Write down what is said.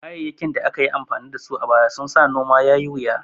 Kayayyakin da aka yi amfani da su a baya sun sa noma yai wuya